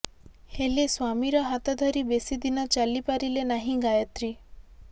ହେଲେ ସ୍ବାମୀର ହାତ ଧରି ବେଶି ଦିନ ଚାଲି ପାରିଲେ ନାହିଁ ଗାୟତ୍ରୀ